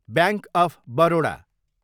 bank of Baroda